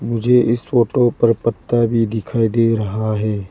मुझे इस फोटो पर पत्ता भी दिखाई दे रहा है।